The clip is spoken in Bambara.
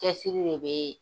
Cɛsiri de bɛ yen.